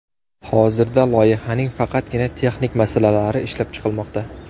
Hozirda loyihaning faqatgina texnik masalalari ishlab chiqilmoqda.